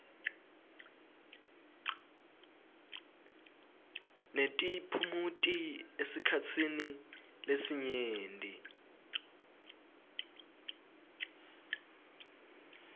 netiphumuti esikhatsini lesinyenti